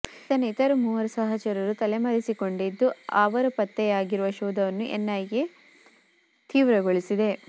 ಈತನ ಇತರ ಮೂವರು ಸಹಚರರು ತಲೆಮರೆಸಿಕೊಂಡಿದ್ದು ಅವರ ಪತ್ತೆಯಾಗಿರುವ ಶೋಧವನ್ನು ಎನ್ಐಎ ತೀವ್ರಗೊಳಿಸಿದೆ